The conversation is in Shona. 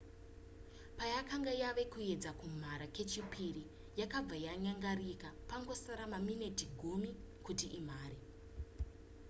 payakanga yava kuedza kumhara kechipiri yakabva yanyangarika pangosara maminiti 10 kuti imhare